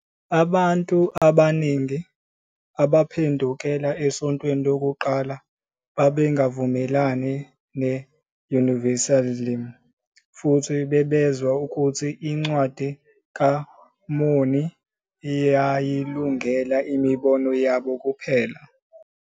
Abantu abaningi abaphendukela esontweni lokuqala babengavumelani ne-Universalism futhi bezwa ukuthi iNcwadi kaMormoni iyayilungela imibono yabo.